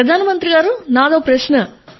ప్రధాన మంత్రి గారూ నాదొక ప్రశ్న